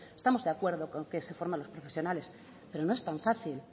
estamos de acuerdo con que se forme a los profesionales pero no es tan fácil